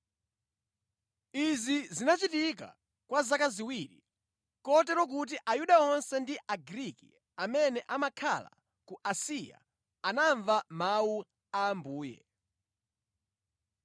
Izi zinachitika kwa zaka ziwiri, kotero kuti Ayuda onse ndi Agriki amene amakhala ku Asiya anamva Mawu a Ambuye.